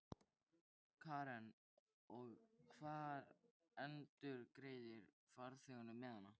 Karen: Og hver endurgreiðir farþegunum miðana?